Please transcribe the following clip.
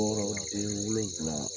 den wolonfila